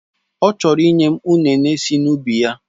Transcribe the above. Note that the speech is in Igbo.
Ọ chọrọ ịnye m ụnene si n'ubi ya.